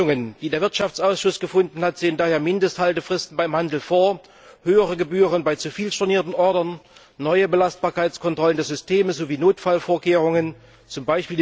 Die Lösungen, die der Wirtschaftsausschuss gefunden hat, sind daher Mindesthaltefristen beim Handel, höhere Gebühren bei zu vielen stornierten Ordern, neue Belastbarkeitskontrollen des Systems sowie Notfallvorkehrungen, z.